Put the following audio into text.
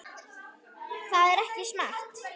Það er ekki smart.